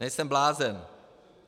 Nejsem blázen!